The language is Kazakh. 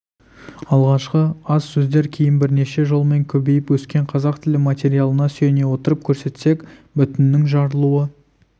алғашқы аз сөздер кейін бірнеше жолмен көбейіп өскен қазақ тілі материалына сүйене отырып көрсетсек бүтіннің жарылуы